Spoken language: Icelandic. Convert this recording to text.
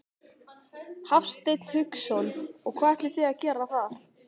Hafsteinn Hauksson: Og hvað ætlið þið að gera þar?